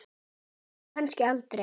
Og kannski aldrei.